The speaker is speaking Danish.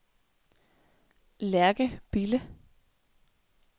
Lærke Bille